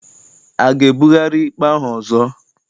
A ga-ebugharị ikpe ahụ ọzọ?